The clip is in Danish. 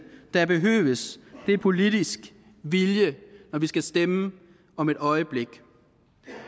der behøves er politisk vilje når vi skal stemme om et øjeblik